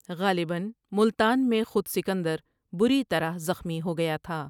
غالباً ملتان میں خود سکندر بری طرح زخمی ہو گیا تھا ۔